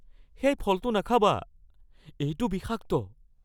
সেই ফলটো নাখাবা। এইটো বিষাক্ত।